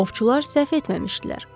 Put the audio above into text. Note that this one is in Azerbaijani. Ovçular səhv etməmişdilər.